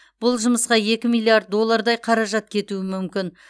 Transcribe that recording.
бұл жұмысқа екі миллиард доллардай қаражат кетуі мүмкін